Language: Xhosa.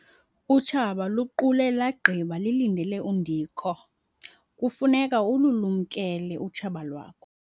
Utshaba luqule lagqiba lilindele undikho. kufuneka ululumkele utshaba lwakho